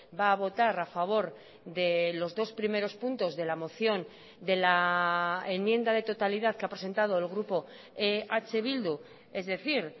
va a votar a favor de los dos primeros puntos de la moción de la enmienda de totalidad que ha presentado el grupo eh bildu es decir